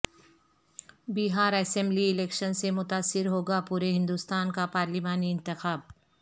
بہار assembly election سے متاثر ہوگا پورے ہندوستان کا پارلیمانی انتخاب